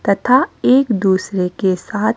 तथा एक दूसरे के साथ--